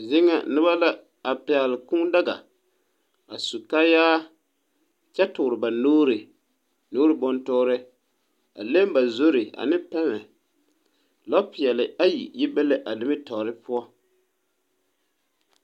Zeɛ nga nuba la a pɛgli kũũ daga a su kaaya kye tuuri ba nuuri buntuuri a leng ba zuri ane pɛma lɔɔ pɛɛli ayi yi be la a nimitoɔring puo.